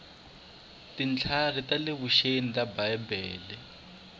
tintlhari ta le vuxeni ta bibele